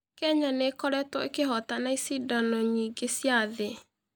Kenya nĩ ĩkoretwo ĩkĩhootana icindano nyingĩ cia thĩ.